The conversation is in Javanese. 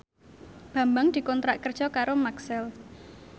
Bambang dikontrak kerja karo Maxell